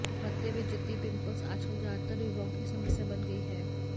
भद्दे व जिद्दी पिंपल्स आजकल ज्यादातर युवाओं की समस्या बन गई हैं